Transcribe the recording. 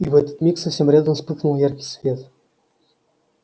и в этот миг совсем рядом вспыхнул яркий свет